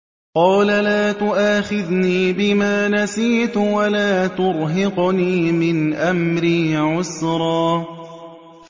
قَالَ لَا تُؤَاخِذْنِي بِمَا نَسِيتُ وَلَا تُرْهِقْنِي مِنْ أَمْرِي عُسْرًا